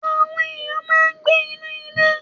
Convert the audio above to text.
Àwọn ènìyàn máa ń gbé inú ilé.